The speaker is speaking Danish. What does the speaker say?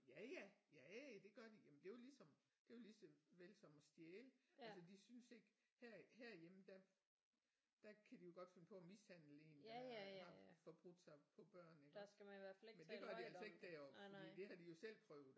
Ja ja ja ja det gør de jamen det er jo ligesom det er jo ligeså vel som at stjæle altså de synes ikke her herhjemme der der kan de jo godt finde på at mishandle en der har forbrudt sig på børn iggås men det gør de altså ikke deroppe fordi det har de jo selv prøvet